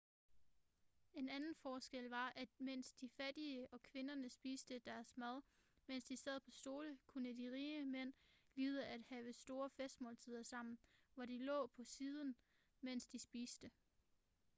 en anden forskel var at mens de fattige og kvinderne spiste deres mad mens de sad på stole kunne de rige mænd lide at have store festmåltider sammen hvor de lå på siden mens de spiste